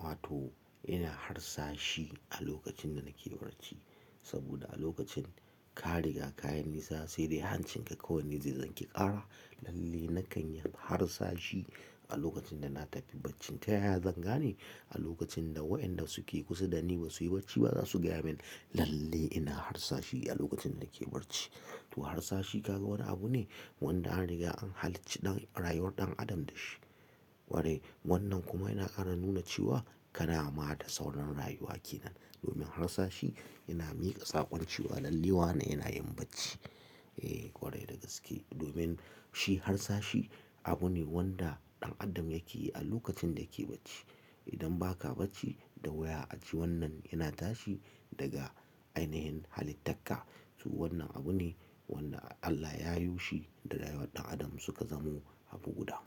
wato ina harsashe a lokacin da nake barci. Saboda a lokacin ka riga kayi nisa sai dai hancinka kawai ne zai zanki ƙara. Lalle nakan yi harsashe a lokacin da na tafi bacci. Ta yaya zan gane? A lokacin da wayanda suke kusa da ni ba su yi barci ba za su gaya min. Lalle ina harsashi a lokacin da nake barci. To harsashe kaga wani abu ne wanda an riga an halicci ɗan rayuwar ɗan adam da shi. Kwarai wannan kuma yana ƙara nuna cewa ka na ma da sauran rayuwa ke nan. Domin harsashi yana miƙa sakon cewa lalle wa na ina yin bacci. Eh, ƙwarai da gaske. Domin shi harsashi abu ne wanda ɗan adam yake yi a lokacin da yake bacci. Idan ba ka bacci da wuya a ji wannan yana tashi daga ainihin halittarka to wannan abu ne wanda Allah ya yi shi da rayuwar ɗan adam suka zamo abu guda.